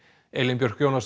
Elín Björk Jónasdóttir